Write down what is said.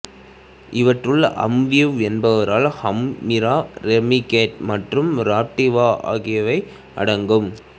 இவற்றுள் Amevive Enbrel Humira Remicade மற்றும் Raptiva ஆகியவை அடங்கும்